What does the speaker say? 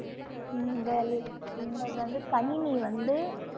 உங்கள் இங்க வந்து கணினி வந்து